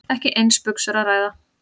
Ekki um eins buxur að ræða